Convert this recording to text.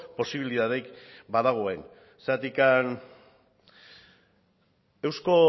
posibilitaterik badagoen zergatik